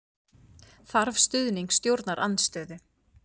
Þarf stuðning stjórnarandstöðu